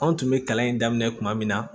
Anw tun bɛ kalan in daminɛ kuma min na